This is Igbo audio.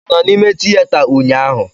Ị nọ n'ime tịyeta ụnyaahụ?